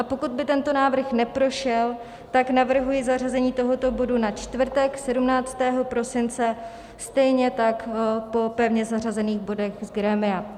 A pokud by tento návrh neprošel, tak navrhuji zařazení tohoto bodu na čtvrtek 17. prosince stejně tak po pevně zařazených bodech z grémia.